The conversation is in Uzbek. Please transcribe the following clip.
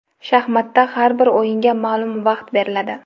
Shaxmatda har bir o‘yinga ma’lum vaqt beriladi.